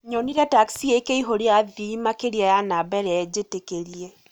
Nyonire taxi ĩkĩihũria athii makĩria ya namba ĩrĩa njĩtĩkĩrie.